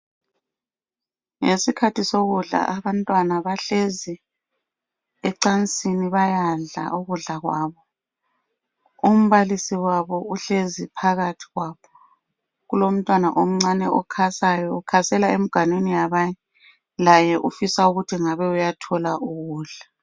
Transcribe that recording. Ngesikhathi sokudla abantwana bahlezi ecansini. Bayadla, ukudla kwabo. Umbalisi wabo uhlezi, phakathi kwabo. Kulomntwana omncane, okhasayo. Ukhasela emganwini yabanye. Laye ufisa ukuthi ngabe uyathola ukudla.